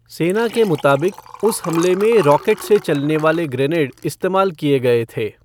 सेना के मुताबिक, उस हमले में रॉकेट से चलने वाले ग्रेनेड इस्तेमाल किए गए थे।